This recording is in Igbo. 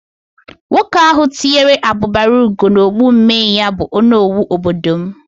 Nwoke ahụ tụnyere abubara ugo n'okpu mmee ya bụ onowu obodo m